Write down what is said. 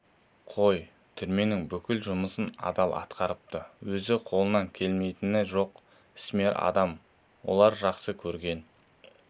қой түрменің бүкіл жұмысын адал атқарыпты өзі қолынан келмейтіні жоқ ісмер адам олар жақсы көрген